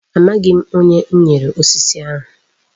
Amaghị m. Onye m nyere osisi ahụ.